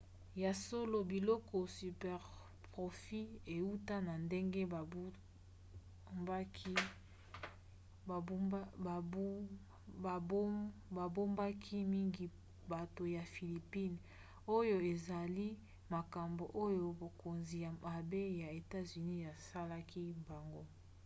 ya solo biloko superprofits euta na ndenge babubaki mingi bato ya philippines oyo ezali makambo oyo bokonzi mabe ya etats-unis esalaki bango